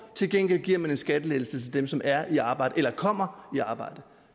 til gengæld giver man en skattelettelse til dem som er i arbejde eller kommer i arbejde